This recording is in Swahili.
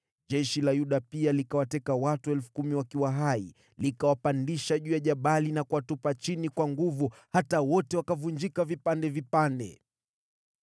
Jeshi la Yuda pia likawateka watu 10,000 wakiwa hai, likawapandisha juu ya jabali na kuwatupa chini kwa nguvu hata wote wakavunjika vipande vipande.